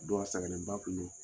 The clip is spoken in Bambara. Dow sɛgɛnen ba tun don